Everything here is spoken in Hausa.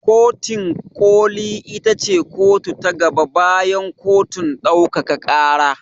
Kotin ƙoli ita ce kotu ta gaba bayan kotun ɗaukaka ƙara.